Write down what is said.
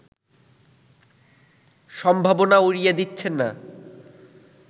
সম্ভাবনা উড়িয়ে দিচ্ছেন না